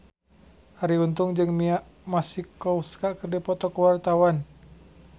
Arie Untung jeung Mia Masikowska keur dipoto ku wartawan